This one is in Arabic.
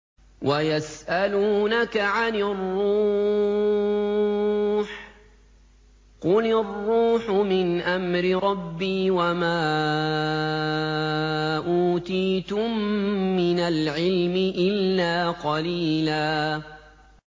وَيَسْأَلُونَكَ عَنِ الرُّوحِ ۖ قُلِ الرُّوحُ مِنْ أَمْرِ رَبِّي وَمَا أُوتِيتُم مِّنَ الْعِلْمِ إِلَّا قَلِيلًا